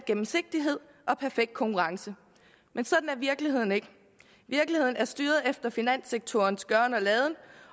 gennemsigtighed og perfekt konkurrence men sådan er virkeligheden ikke virkeligheden er styret af finanssektorens gøren og laden